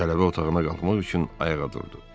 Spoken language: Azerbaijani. Tələbə otağına qalxmaq üçün ayağa durdu.